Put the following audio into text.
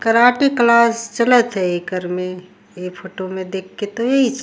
karate class चलत है एकर में ये फोटो में देख के तइस --